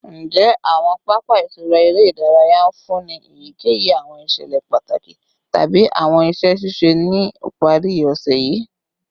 Njẹ awọn papa itura ere idaraya nfunni eyikeyi awọn iṣẹlẹ pataki tabi awọn iṣẹ ṣiṣe ni ipari ose yii?